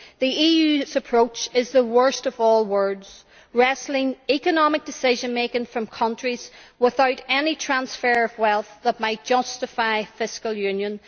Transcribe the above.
The EU's approach is the worst of all worlds, wresting economic decision making from countries without any transfer of wealth that might justify fiscal union.